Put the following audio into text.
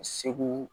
Segu